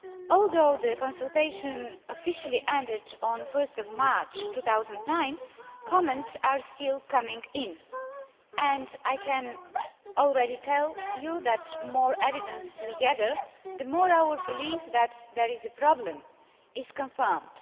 Although the consultation officially ended on 1 March 2009, comments are still coming in and I can already tell you that, the more evidence we gather, the more our belief that there is a problem is confirmed.